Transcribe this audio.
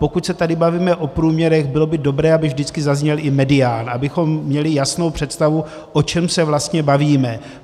Pokud se tady bavíme o průměrech, bylo by dobré, aby vždycky zazněl i medián, abychom měli jasnou představu, o čem se vlastně bavíme.